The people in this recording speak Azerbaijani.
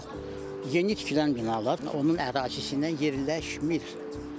Bax yeni tikilən binalar, onun ərazisindən yerləşmir.